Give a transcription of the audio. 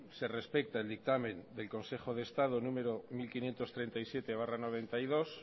se respeta el dictamen del consejo de estado número mil quinientos treinta y siete barra noventa y dos